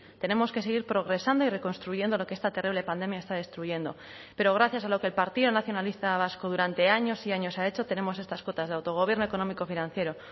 tenemos que seguir progresando y reconstruyendo lo que esta terrible pandemia está destruyendo pero gracias a lo que el partido nacionalista vasco durante años y años ha hecho tenemos estas cotas de autogobierno económico financiero